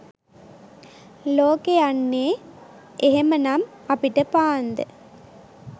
ලෝකෙ යන්නේ එහෙම නම් අපිට පාන්ද?